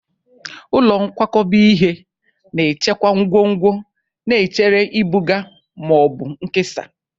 Ụlọ nkwakọba ihe na-echekwa ngwongwo na-echere ibuga ma ọ bụ nkesa.